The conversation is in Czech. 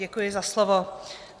Děkuji za slovo.